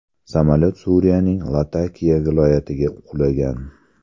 Samolyot Suriyaning Latakiya viloyatiga qulagan .